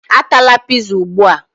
Atala pizza ugbu a!